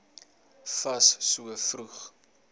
fas so vroeg